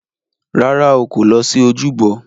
Rárá o, kò lọ sí ojúbọ.